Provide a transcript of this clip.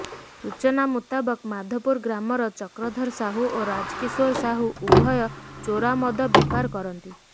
ସୂଚନା ମୁତାବକ ମାଧପୁର ଗ୍ରାମର ଚକ୍ରଧର ସାହୁ ଓ ରାଜକିଶୋର ସାହୁ ଉଭୟ ଚୋରା ମଦ ବେପାର କରନ୍ତି